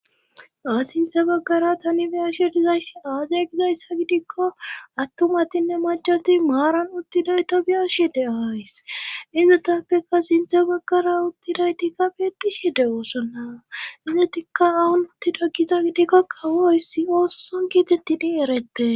a sinthe baggara tani biyashe dizayssi aazay gizayssa gidikko attumatinne machati maaran uttiday to biyashi de ays inzetappeka sinthe baggara uttidaytikka beetishi de woosonna izetikka awun uttida giza gidikka qawoissi oososon giitettini erette